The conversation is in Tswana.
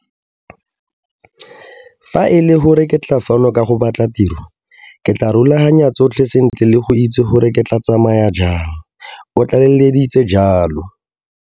Fa e le gore ke tla fano ka go batla tiro, ke tla rulaganya tsotlhe sentle le go itse gore ke tla tsamaya jang, o tlaleleditse jalo.